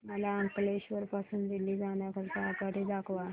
मला अंकलेश्वर पासून दिल्ली जाण्या करीता आगगाडी दाखवा